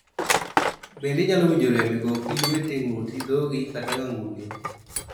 Bende inyalo winjo rem e gokI, lweti, ng'utI, dhogi, kata ng'anguni.